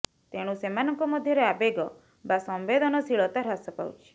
ତେଣୁ ସେମାନଙ୍କ ମଧ୍ୟରେ ଆବେଗ ବା ସମ୍ୱେଦନଶୀଳତା ହ୍ରାସ ପାଉଚ୍ଥି